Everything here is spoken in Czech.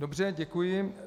Dobře, děkuji.